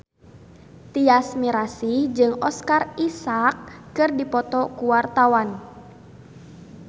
Tyas Mirasih jeung Oscar Isaac keur dipoto ku wartawan